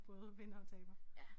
Både vinder og taber